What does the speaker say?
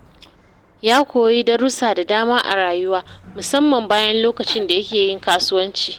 Ya koyi darussa da dama a rayuwa, musamman bayan lokacin da yake yin kasuwanci.